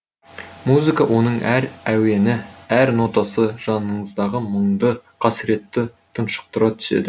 музыка оның әр әуені әр нотасы жаныңыздағы мұңды қасіретті тұншықтыра түседі